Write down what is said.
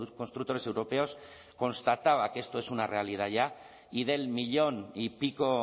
constructores europeos constataba que esto es una realidad ya y del millón y pico o